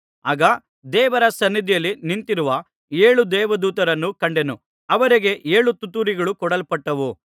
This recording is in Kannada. ಆಗ ದೇವರ ಸನ್ನಿಧಿಯಲ್ಲಿ ನಿಂತಿರುವ ಏಳು ದೇವದೂತರನ್ನು ಕಂಡೆನು ಅವರಿಗೆ ಏಳು ತುತ್ತೂರಿಗಳು ಕೊಡಲ್ಪಟ್ಟವು